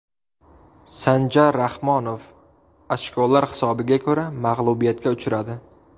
Sanjar Rahmonov ochkolar hisobiga ko‘ra mag‘lubiyatga uchradi.